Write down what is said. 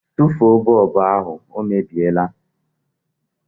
Tụfuo bọlbụ ahụ, ọ mebiela